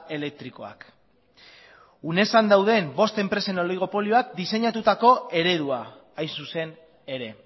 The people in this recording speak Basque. elektrikoak unesan dauden bost enpresen oligopolioak diseinatutako eredua hain zuzen ere